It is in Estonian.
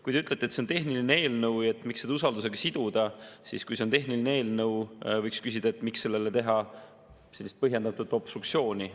Kui te ütlete, et see on tehniline eelnõu ja miks seda usaldusega siduda, siis võiks küsida, et kui see on tehniline eelnõu, siis miks sellele teha sellist põhjendatud obstruktsiooni.